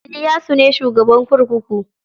Iliyasu ne shugaban kurkuku.